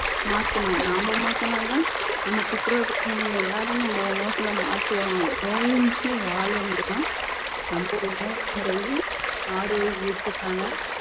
மாத்தணும் நாம மாத்துனா தான் நமக்கு அப்புறம் இருக்கிறவங்க எல்லாரும் நம்ம உணவுகளை மாத்துவாங்க நோயின்றி வாழணும்னா நம்ம உணவு முறையும் ஆரோக்கியத்துக்கான